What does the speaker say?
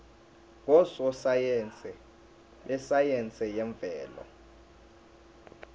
ngososayense besayense yemvelo